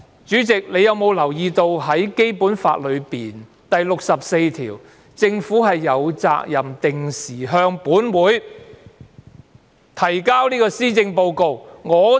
主席，你有否留意到，《基本法》第六十四條訂明，政府有責任"定期向立法會作施政報告"呢？